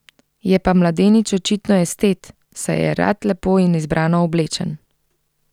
Je pa mladenič očitno estet, saj je rad lepo in izbrano oblečen.